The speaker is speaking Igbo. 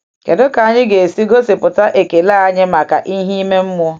Kedu ka anyị ga-esi gosipụta ekele anyị maka ihe ime mmụọ?